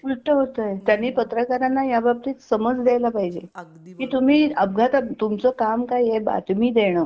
उलट होतय त्यांनी पत्रकारांना या बाबतीत समज द्यायला पाहिजे अगदी बरोबर की तुम्ही अपघातात तुमच काम काय आहे बातमी देणं.